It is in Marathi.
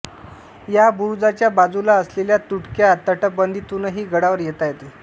या बुरुजाच्या बाजूला असलेल्या तुटक्या तटबंदितूनही गडावर येता येते